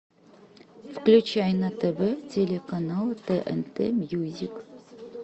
включай на тв телеканал тнт мьюзик